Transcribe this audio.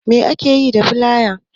Me ake yi da filaya?